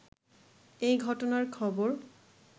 এ ঘটনার খবর